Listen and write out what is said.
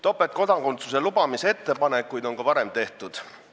Topeltkodakondsuse lubamise ettepanekuid on ka varem tehtud.